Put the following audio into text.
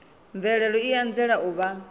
mvelelo i anzela u vha